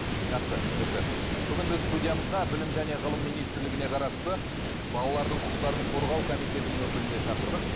жақсы түсінікті бүгін біз студиямызға білім және ғылым министрлігіне қарасты балалардың құқықтарын қорғау комитетінің өкілін де шақырдық